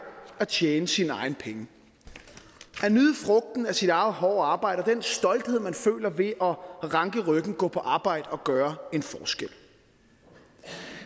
at tjene sine egne penge at nyde frugten af sit eget hårde arbejde og den stolthed man føler ved at ranke ryggen og gå på arbejde og gøre en forskel